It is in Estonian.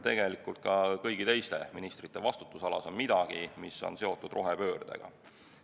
Tegelikult on ka kõigi teiste ministrite vastutusalas midagi, mis on seotud rohepöördega.